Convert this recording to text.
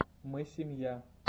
мы семья